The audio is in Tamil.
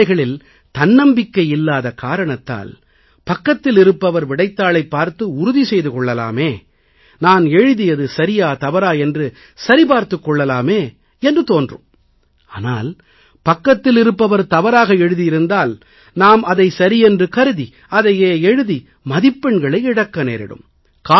சில வேளைகளில் தன்னம்பிக்கை இல்லாத காரணத்தால் பக்கத்தில் இருப்பவர் விடைத்தாளைப் பார்த்து உறுதி செய்து கொள்ளலாமே நான் எழுதியது சரியா தவறா என்று சரி பார்த்துக் கொள்ளலாமே என்று தோன்றும் ஆனால் பக்கத்தில் இருப்பவர் தவறாக எழுதியிருந்தால் நாம் அதை சரியென்று கருதி அதையே எழுதி மதிப்பெண்களை இழக்க நேரிடும்